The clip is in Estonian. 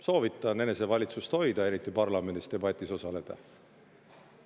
Soovitan enesevalitsust hoida, eriti parlamendi debatis osaledes.